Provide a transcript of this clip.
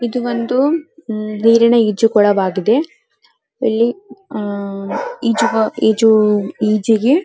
ಇದು ಒಂದು ನೀರಿನ ಈಜುಕೊಳವಾಗಿದೆ ಇಲ್ಲಿ ಆಹ್ಹ್ ಈಜುವ ಈಜಿಗೆ --